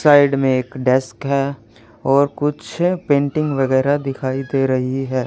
Side में एक desk है और कुछ पेंटिंग वगैरह दिखाई दे रही है।